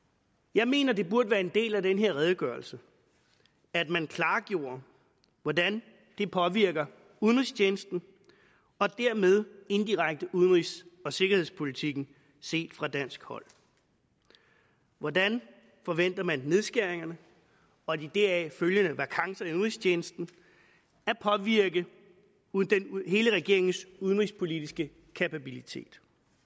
jeg mener det burde være en del af den her redegørelse at man klargjorde hvordan det påvirker udenrigstjenesten og dermed indirekte udenrigs og sikkerhedspolitikken set fra dansk hold hvordan forventer man nedskæringerne og de deraf følgende vakancer i udenrigstjenesten påvirker hele regeringens udenrigspolitiske kapabilitet